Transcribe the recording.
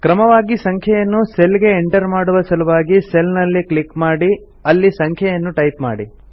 ಕ್ರಮವಾಗಿ ಸಂಖ್ಯೆಯನ್ನು ಸೆಲ್ ಗೆ ಎಂಟರ್ ಮಾಡುವ ಸಲುವಾಗಿ ಸೆಲ್ ನಲ್ಲಿ ಕ್ಲಿಕ್ ಮಾಡಿ ಅಲ್ಲಿ ಸಂಖ್ಯೆಯನ್ನು ಟೈಪ್ ಮಾಡಿ